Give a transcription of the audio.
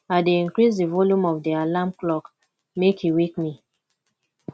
i dey increase di volume of di alarm clock make e wake me